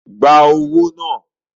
Gba owó náà!